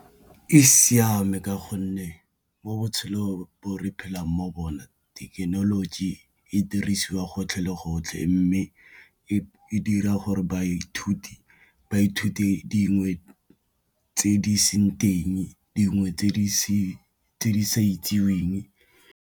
E siame ka gonne mo botshelong bo re phelang mo bona thekenoloji e dirisiwa gotlhe le gotlhe, mme e dira gore baithuti ba ithute dingwe tse di seng teng dingwe tse di sa itseweng.